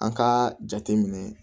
An k'a jateminɛ